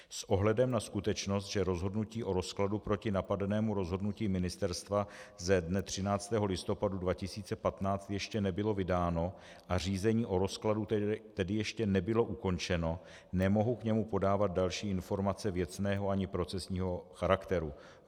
S ohledem na skutečnost, že rozhodnutí o rozkladu proti napadenému rozhodnutí ministerstva ze dne 13. listopadu 2015 ještě nebylo vydáno a řízení o rozkladu tedy ještě nebylo ukončeno, nemohu k němu podávat další informace věcného ani procesního charakteru.